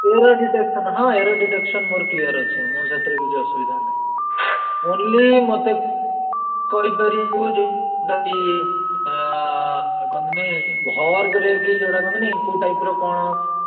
Error detection ହଁ error detection ମୋର clear ଅଛି, ମୋର ସେଥିରେ କିଛି ଅସୁବିଧା ନାହିଁ। only ମତେ କହିପାରିବୁ ଯେ କି ଏଁ କହନ୍ତିନି verb ରେ କି ଯୋଉଟା କହନ୍ତିନି କୋଉ type ର କଣ?